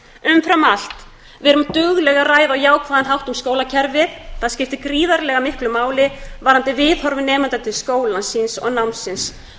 umfram allt verum dugleg að ræða á jákvæðan hátt um skólakerfið það skiptir gríðarlega miklu máli varðandi viðhorf nemenda til skólans síns og námsins